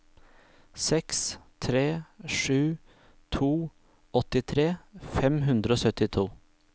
seks tre sju to åttitre fem hundre og syttito